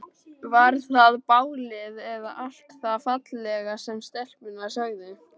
Var það bálið eða allt það fallega sem stelpurnar sögðu?